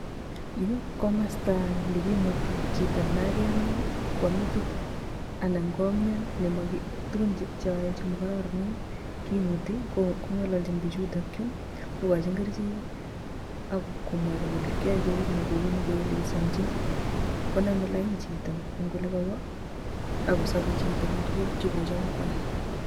Yu ko komostoo nekimuti chito nekamian, kwame meetit anan komian neyoe tuguun chemokororonen kimuti kongololchi bichutok chu, kokochi kerichek ak komwochi kole kiyoe kouni ak kouni koelezonchi. Koname lain chito eng olekowo ak kosobe chito eng tuguuk chekotam koyoe